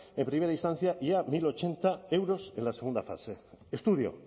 en primera instancia y a mil ochenta euros en la segunda fase estudio